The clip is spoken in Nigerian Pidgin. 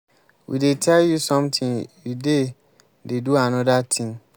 we dey tell you something you dey dey do another thing.